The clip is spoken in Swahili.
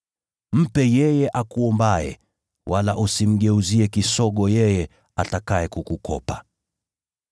Mpe yeye akuombaye, wala usimgeuzie kisogo yeye atakaye kukukopa.